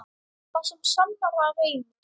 Það sem sannara reynist